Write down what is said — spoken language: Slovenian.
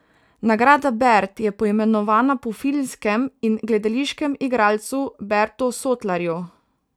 Nagrada bert je poimenovana po filmskem in gledališkem igralcu Bertu Sotlarju.